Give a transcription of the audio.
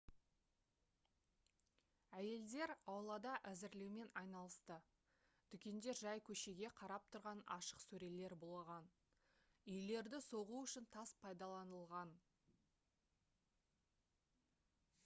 әйелдер аулада әзірлеумен айналысты дүкендер жай көшеге қарап тұрған ашық сөрелер болған үйлерді соғу үшін тас пайдаланылған